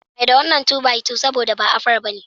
Mai da wannan 2 by 2 sabo da ba afara bane